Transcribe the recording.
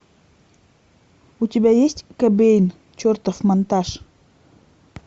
у тебя есть кобейн чертов монтаж